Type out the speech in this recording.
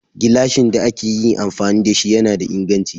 Gilashin da ake yi amfani da shi yana da inganchi.